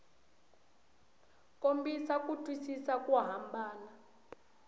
kombisa ku twisisa ku hambana